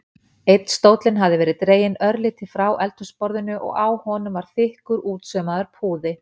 Einn stóllinn hafði verið dreginn örlítið frá eldhúsborðinu og á honum var þykkur, útsaumaður púði.